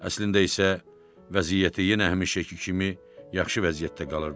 Əslində isə vəziyyəti yenə həmişəki kimi yaxşı vəziyyətdə qalırdı.